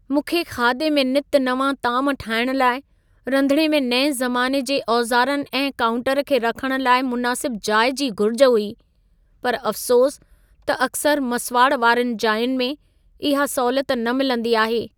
मूंखे खाधे में नित नवां ताम ठाहिण लाइ रंधिणे में नएं ज़माने जे औज़ारनि ऐं कांउटर खे रखण लाइ मुनासिब जाइ जी घुर्ज हुई, पर अफ़्सोस त अकसरि मसुवाड़ वारियुनि जाइयुनि में इहा सहूलियत न मिलंदी आहे।